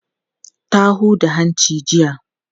Ta huda hanci jiya.